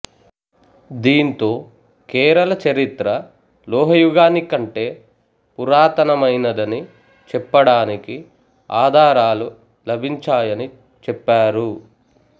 దీంతో కేరళ చరిత్ర లోహయుగానికి కంటే పురాతనమైనదని చెప్పడానికి ఆధారాలు లభించాయని చెప్పారు